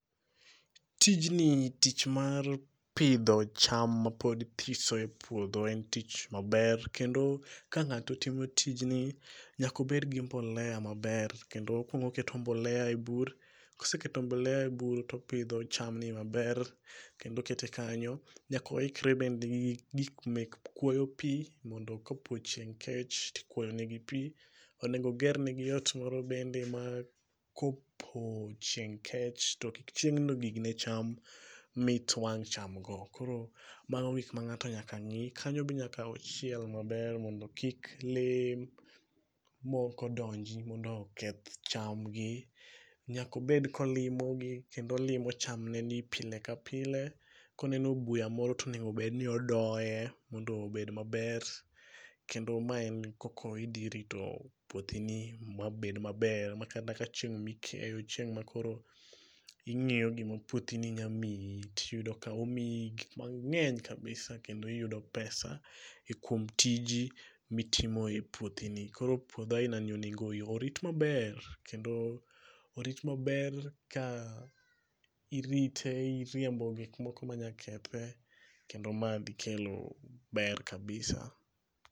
Tijni tich mar pidho cham mapod thiso e puodho en tich maber kendo ka ng'ato timo tijni nyako bedgi mbolea maber kendo okuong ooketo mbolea e bur, koseketo mbolea e bur topidho cham maber kendo okete kanyo. Nyaka oikre bende gi gik mek ,kuoyo pii mondo kapo chieng' kech tikuoyo ne pii. Onego oger negi ot moro bende ma kopo chieng' kech to kik chieng' no gig ne cham mit wang' cham g.Koro mago gik mangato nyaka ng'i. Kanyo be nyaka ochiel maber mondo kik lee moko donji mondo oketh cham gi. Nyaka obed kolimo gi kendo olimo cham gegi pile ka pile, koneno buya moro tonego bed ni odoye mondo obed maber kendo mae e koko idhi irito puothi ni mabed maber makata ka chieng mikeyo, chieng' makoro ingiyo gima puothini nya miyi tiyudo ka omiyi gik mangeny kabisa kendo iyudo pesa kuom tiji mitimo e puothi ni. Koro puodho aina ni onego orit maber kendo, orit maber ka irite ,iriembo gik moko manya kethe kendo madhi kelo ber kabisa